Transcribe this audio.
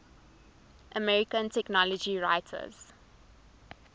american technology writers